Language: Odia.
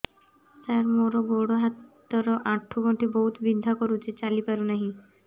ସାର ମୋର ଗୋଡ ହାତ ର ଆଣ୍ଠୁ ଗଣ୍ଠି ବହୁତ ବିନ୍ଧା କରୁଛି ଚାଲି ପାରୁନାହିଁ